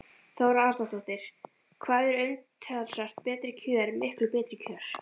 Þóra Arnórsdóttir: Hvað eru umtalsvert betri kjör miklu betri kjör?